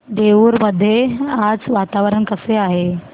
देऊर मध्ये आज वातावरण कसे आहे